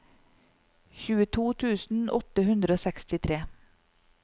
tjueto tusen åtte hundre og sekstitre